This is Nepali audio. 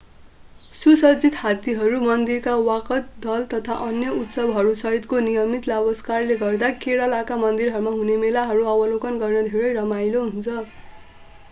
सुसज्जित हात्तीहरू मन्दिरका वादकदल तथा अन्य उत्सवहरूसहितको नियमित लावालस्करले गर्दा केरलाका मन्दिरमा हुने मेलाहरू अवलोकन गर्न धेरै रमाईलो हुन्छ